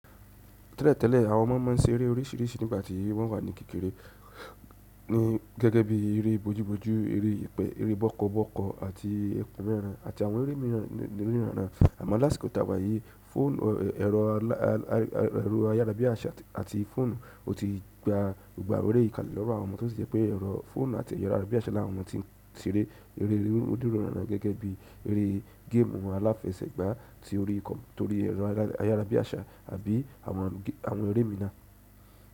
Tẹ́lẹ̀ tẹ́lẹ̀ àwọn ọmọ ma ń ṣeré oríṣìíríṣìí nígbà tí wọ́n wà ní kékeré, gẹ́gẹ́ bí eré bojú bojú, eré bọ́kọ́bọ́kọ́ àti ẹkùn mẹràn àti àwọn eré míràn. Àmọ́ lásìkò táwà yìí fọ́ọ̀nù, ẹ̀rọ ayárabíàṣá àti fóònù ó ti gba gbogbo àwọn eré kalẹ̀ lọ́wọ́ àwọn ọmọ tó sì jẹ́ pé ẹ̀rọ fóònù àti ẹ̀rọ ayárabíàṣá làwọn ọmọ tí ń ṣeré eré odírún ọ̀nà gẹ́gẹ́ bí eré géèmù àwọn aláfẹ̀sẹ́gbàá tí ó rí ikọ̀ torí ẹ̀rọ ayárabíàṣá àbí àwọn eré míì náà.